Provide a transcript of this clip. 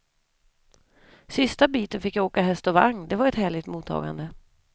Sista biten fick jag åka häst och vagn, det var ett härligt mottagande.